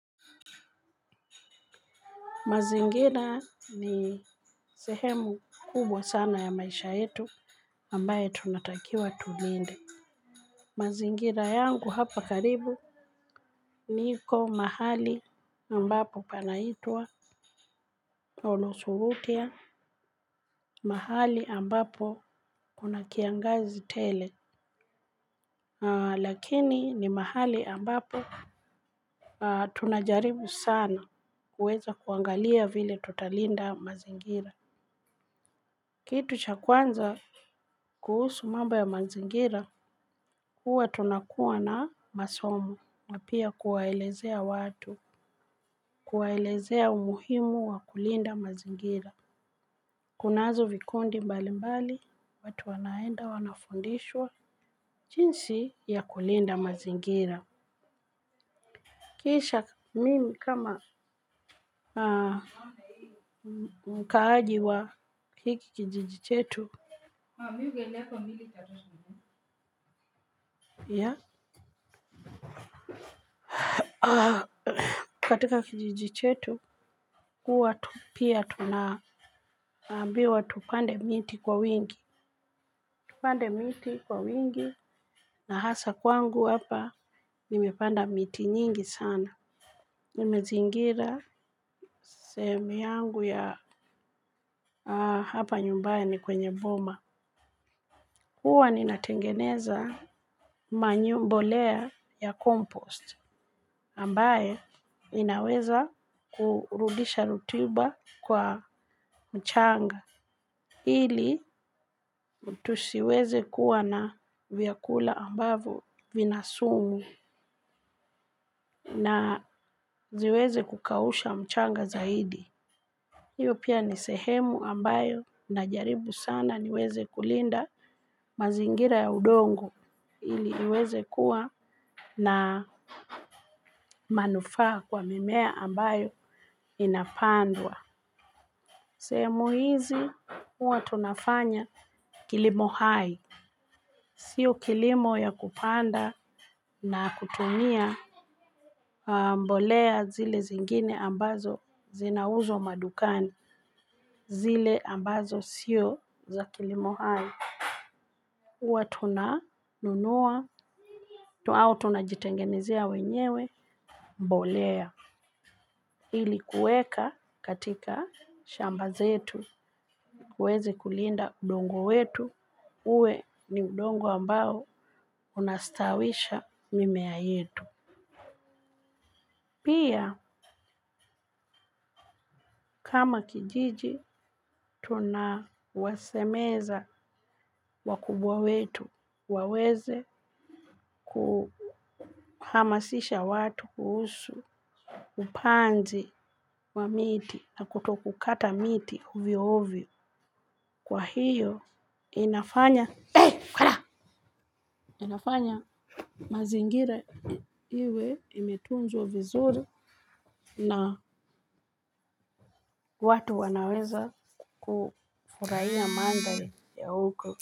Mazingira ni sehemu kubwa sana ya maisha yetu ambayo tunatakiwa tulinde. Mazingira yangu hapa karibu niko mahali ambapo panaitwa Onosurutia mahali ambapo kuna kiangazi tele. Lakini ni mahali ambapo tunajaribu sana kuweza kuangalia vile tutalinda mazingira. Kitu cha kwanza kuhusu mambo ya mazingira huwa tunakuwa na masomo na pia kuwaelezea watu kuwaelezea umuhimu wa kulinda mazingira. Kunazo vikundi mbali mbali watu wanaenda wanafundishwa jinsi ya kulinda mazingira. Kisha mimi kama mkaaji wa hiki kijiji chetu. Yah katika kijiji chetu kuwa tu pia tunaambiwa tupande miti kwa wingi. Tupande miti kwa wingi na hasaa kwangu hapa nimepanda miti nyingi sana. Nimezingira sehemu yangu ya hapa nyumbayani kwenye boma. Huwa ninatengeneza manure mbolea ya compost, ambaye inaweza kurudisha rutuba kwa mchanga. Ili tusiweze kuwa na vyakula ambavo vina sumu na siweze kukausha mchanga zaidi. Hiyo pia ni sehemu ambayo najaribu sana niweze kulinda mazingira ya udongo. Ili iweze kuwa na manufaa kwa mimea ambayo inapandwa. Sehemu hizi, huwa tunafanya kilimo hai. Sio kilimo ya kupanda na kutumia mbolea zile zingine ambazo zinauzwa madukani. Zile ambazo sio za kilimo hai. Huwa tunanunua, au tunajitengenezea wenyewe mbolea. Ili kuweka katika shamba zetu tuwezi kulinda udongo wetu uwe ni udongo ambao unastawisha mimea yetu. Pia kama kijiji tunawasemeza wakubwa wetu waweze kuhamasisha watu kuhusu upanzi wa miti na kutokukata miti ovyo ovyo. Kwa hiyo inafanya mazingira iwe imetunzwa vizuri na watu wanaweza kufurahiya mandhari ya huko.